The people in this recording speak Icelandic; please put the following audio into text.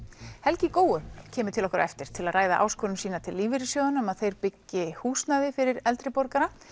helgi í Góu kemur til okkar á eftir til að ræða áskorun sína til lífeyrissjóðanna um að þeir byggi húsnæði fyrir eldri borgara